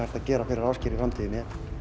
að gera fyrir Ásgeir í framtíðinni